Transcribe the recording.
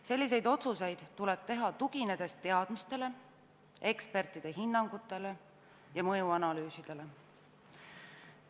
Selliseid otsuseid tuleb teha teadmistele, ekspertide hinnangutele ja mõjuanalüüsidele tuginedes.